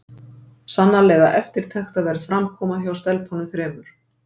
Sannarlega eftirtektarverð framkoma hjá stelpunum þremur!